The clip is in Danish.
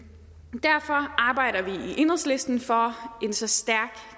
derfor arbejder vi i enhedslisten for en så stærk